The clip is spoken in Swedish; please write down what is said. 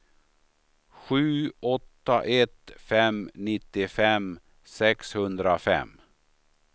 sju åtta ett fem nittiofem sexhundrafem